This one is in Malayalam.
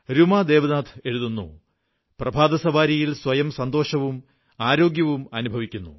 രൂമാ ദേവനാഥ് എഴുതുന്നു പ്രഭാതസവാരിയിൽ സ്വയം സന്തോഷവും ആരോഗ്യവും അനുഭവിക്കുന്നു